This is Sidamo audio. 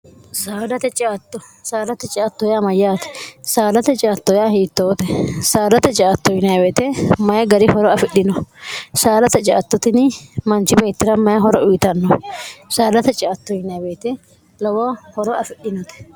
saadate ciatto saalate ciatto ya mayyaate saalate citto yaa hiittoote saalate citto yiwete mayi gari horo afidhino saalate ciattotini manchi meettira mayi horo uyitanno saalate ctw lowo horo afidhinote